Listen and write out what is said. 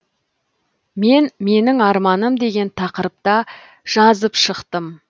мен менің арманым деген тақырыпта жазып шықтым